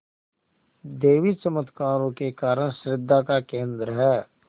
देवी चमत्कारों के कारण श्रद्धा का केन्द्र है